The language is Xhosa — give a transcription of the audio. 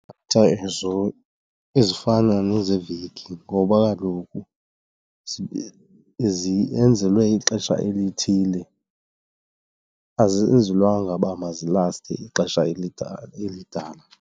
Datha ezo ezifana nezeveki ngoba kaloku ziyenzelwe ixesha elithile, azenzelwanga uba mazilaste ixesha elidana.